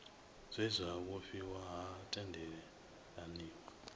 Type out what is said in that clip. zwe zwa vhofhiwa ha tendelaniwa